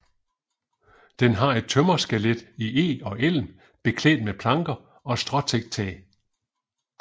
Den har et tømmerskelet i eg og elm beklædt med planker og et stråtækt tag